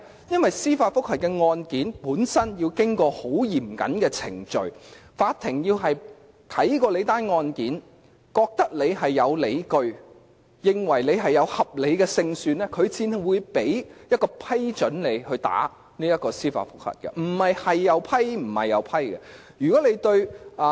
因為司法覆核案件本身要經過很嚴謹的程序，法庭先要檢視案件，認為有理據和合理勝算，才會批准提出司法覆核，不是甚麼申請也批准的。